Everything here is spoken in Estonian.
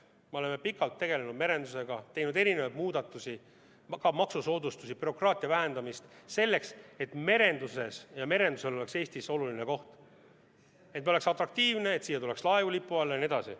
Me oleme pikalt tegelenud merendusega, teinud erinevaid muudatusi, ka maksusoodustusi, oleme vähendanud bürokraatiat, selleks et merendusel oleks Eestis oluline koht, et me oleksime atraktiivsed, et Eesti lipu alla tuleks laevu jne.